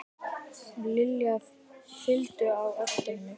Lilla fylgdu á eftir henni.